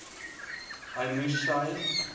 hy moers sy